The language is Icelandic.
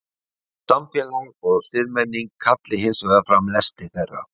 Samfélag og siðmenning kalli hins vegar fram lesti þeirra.